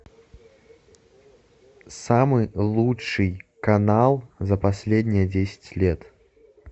самый лучший канал за последние десять лет